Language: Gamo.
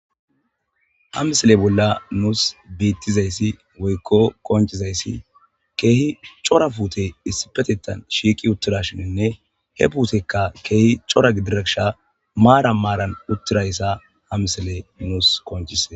Ha misele bolla nuus biittizayssi woykko konchizayssi keehi cora fuute issipetettan shiiki uttirashininne he puutekka keehi cora gidirekisha maara maaran uttirayssa ha misele nuus konchise.